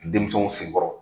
Denmisɛnw senkɔrɔ